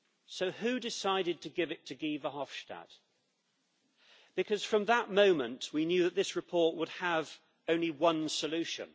So who decided to give it to Guy Verhofstadt, because from that moment we knew that this report would have only one solution?